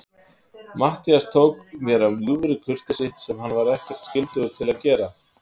Matthías tók mér af ljúfri kurteisi, sem hann var ekkert skyldugur að gera.